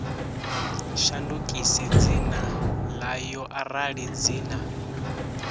shandukise dzina ḽayo arali dzina